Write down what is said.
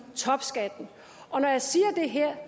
topskatten og når jeg siger det her